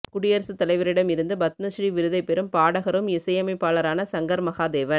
குடியரசு தலைவரிடம் இருந்து பத்ம ஸ்ரீ விருத்தை பெறும் பாடகரும் இசையமைப்பாளரான சங்கர் மகாதேவன்